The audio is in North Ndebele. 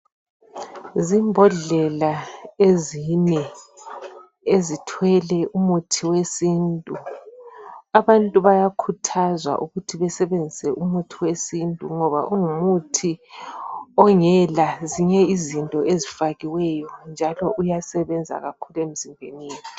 Zimbhodlela ezine ezithwele umithi wesintu, abantu bayakhuthazwa ukuthi besebenzisa umuthi wesintu ngoba ungumuthi ongela zinye izinto ezifakiweyo njalo uyasebenza kakhulu emzimbeni yethu.